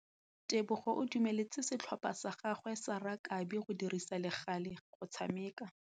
Tebogô o dumeletse setlhopha sa gagwe sa rakabi go dirisa le galê go tshameka.